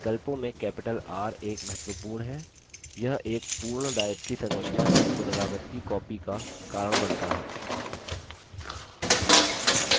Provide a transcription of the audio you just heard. विकल्पों में capital r एक महत्वपूर्ण है यह एक पूर्ण directory संरचना की पुनरावर्ती कॉपी का कारण बनता है